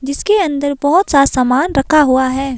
जिसके अंदर बहुत सा सामान रखा हुआ है।